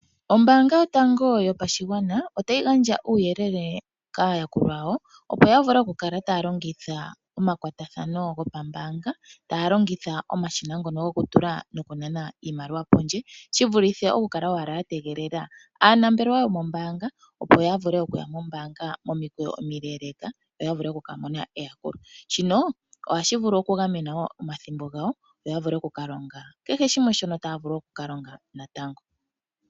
Ombaanga yotango yopashigwana otayi gandja uuyelele kaayakulwa yawo, opo ya kale taya longitha omakwatathano gopambaanga taya longitha omashina ngono gokutula nokunana iimaliwa pondje, shi vulithe okukala owala ya tegelele aanambelewa yomombaanga opo ya vule okuya mombaanga momikweyo omileeleka yo ya vule oku ka mona omayakulo. Shino ohashi vulu okukwatela po ethimbo lyawo, opo ya vule oku ka longa sha shilwe natango.